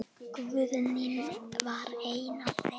Guðný var ein af þeim.